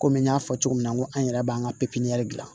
Komi n y'a fɔ cogo min na ko an yɛrɛ b'an ka pipiniyɛri dilan